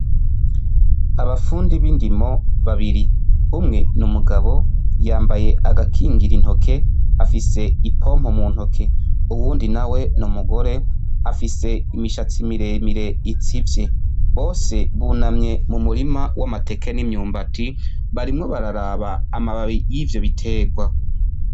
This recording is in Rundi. Abafundi b'indimo babiri, umwe ni umugabo yambaye agakingira intoke afise ipompo mu ntoke, uwundi nawe ni umugore afise imishatsi miremire itsivye. Bose bunamye mu murima w'amateke n'imyumbati barimwo bararaba amababi y'ivyo biterwa.